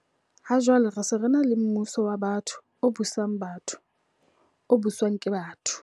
Ha jwale re se re ena le mmuso wa batho, o busang batho, o buswang ke batho.